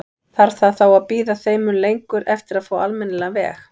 Þarf það þá að bíða þeim mun lengur eftir að fá almennilegan veg?